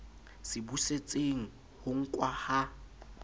se busetseng ho nkwa ha